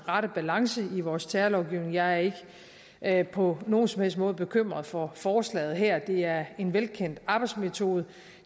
rette balance i vores terrorlovgivning jeg er ikke på nogen som helst måde bekymret for forslaget her det er en velkendt arbejdsmetode